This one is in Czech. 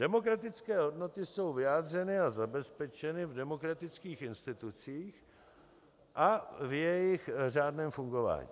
Demokratické hodnoty jsou vyjádřeny a zabezpečeny v demokratických institucích a v jejich řádném fungování.